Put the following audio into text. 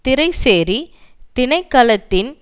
திறைசேரி திணைக்களத்தின்